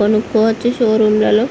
కొనుక్కోవచ్చు షోరూం ల లో.